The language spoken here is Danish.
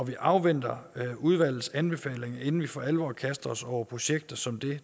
vi afventer udvalgets anbefalinger inden vi for alvor kaster os over projekter som det